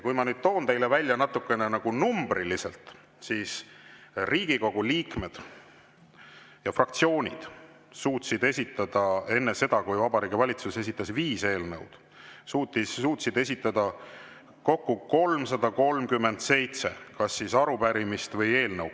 Kui ma nüüd toon teile välja numbriliselt, siis Riigikogu liikmed ja fraktsioonid suutsid esitada enne seda, kui Vabariigi Valitsus esitas viis eelnõu, kokku 337 arupärimist ja eelnõu.